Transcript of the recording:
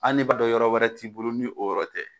An'i b'a dɔn yɔrɔ wɛrɛ t'i bolo ni o yɔrɔ tɛ